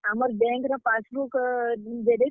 ଆମର୍ bank ର passbook xerox ।